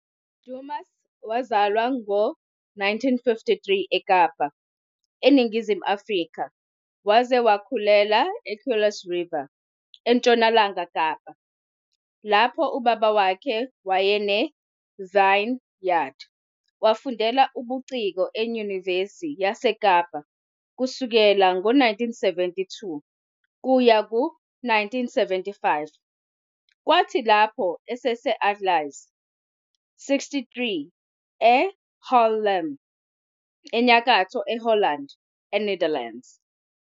Dumas wazalwa ngo-1953 eKapa, eNingizimu Afrika, waze wakhulela eKuils River eNtshonalanga Kapa, lapho ubaba wakhe wayenevineyard. Wafundela ubuciko eNyuvesiyase Kapa kusuka ngo-1972 kuya ku-1975, kwathi lapho ese- Ateliers '63 eHaarlem, eNyakatho Holland eNetherlands.